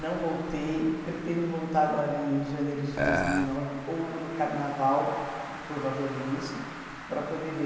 Não voltei, pretendo voltar agora em janeiro de dois mil e nove ou no carnaval, provavelmente, para poder ver.